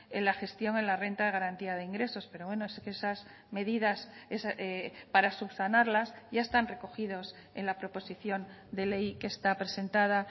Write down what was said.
en la gestión en la renta de garantía de ingresos pero bueno esas medidas para subsanarlas ya están recogidos en la proposición de ley que está presentada